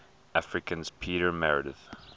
africans peter meredith